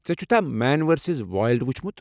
ژےٚ چھُتھا man versus wild وُچھمُت؟